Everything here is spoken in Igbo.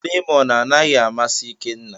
Lemọn anaghị amasị Ikenna.